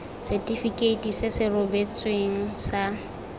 setifikeiti se se rebotsweng sa